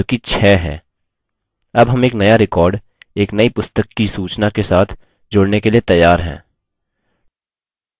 अब हम एक now record एक now पुस्तक कि सूचना के साथ जोड़ने के लिए तैयार हैं